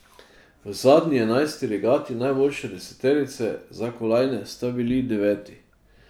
V zadnji, enajsti regati najboljše deseterice za kolajne sta bili deveti.